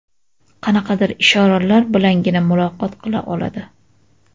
Qanaqadir ishoralar bilangina muloqot qila oladi.